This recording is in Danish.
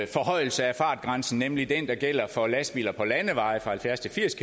forhøjelse af fartgrænsen nemlig den der gælder for lastbiler på landeveje fra halvfjerds til firs